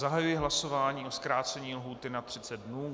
Zahajuji hlasování o zkrácení lhůty na 30 dnů.